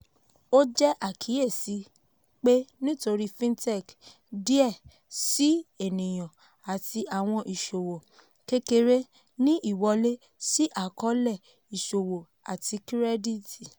ó jẹ́ àkíyèsí pé nítorí fintech díẹ síi ènìyàn àti àwọn ìṣòwò kékeré ní ìwọlé sí àkọ́ọ́lẹ̀ ìṣòwò àti kírẹ́dìtì.